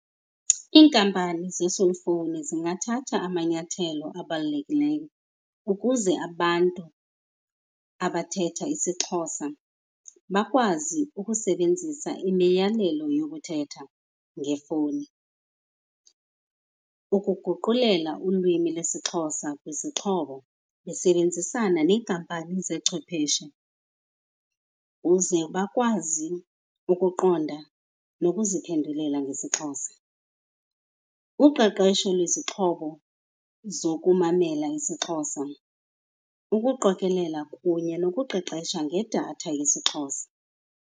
Iinkampani zee-cellphone zingathatha amanyathelo abalulekileyo ukuze abantu abathetha isiXhosa bakwazi ukusebenzisa imiyalelo yokuthetha ngefowuni. Ukuguqulela ulwimi lwesiXhosa kwizixhobo besebenzisana neekampani zechwepheshe uze bakwazi ukuqonda nokuziphendulela ngesiXhosa. Uqeqesho lwezixhobo zokumamela isiXhosa, ukuqokelela kunye nokuqeqesha ngedatha yesiXhosa.